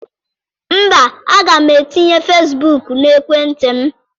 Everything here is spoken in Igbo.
Mba, aga m etinye Fesbuk n'ekwentị m.